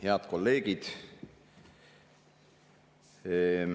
Head kolleegid!